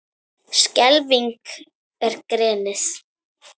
Klefinn er grenið.